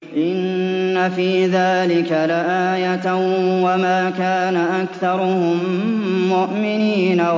إِنَّ فِي ذَٰلِكَ لَآيَةً ۖ وَمَا كَانَ أَكْثَرُهُم مُّؤْمِنِينَ